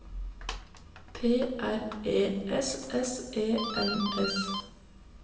P R E S S E N S